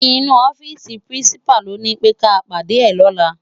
Inú òfisi pirinsipá ló ni pé ká pádé è lòlá